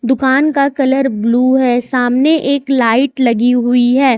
दुकान का colour blue है सामने एक लाइट लगी हुई है।